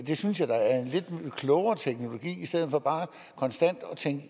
det synes jeg da er en lidt klogere teknologi